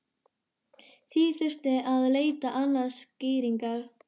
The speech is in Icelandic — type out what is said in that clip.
Því þurfti að leita annarra skýringa.